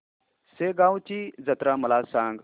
शेगांवची जत्रा मला सांग